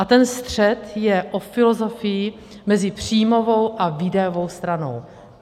A ten střet je o filozofii mezi příjmovou a výdajovou stranou.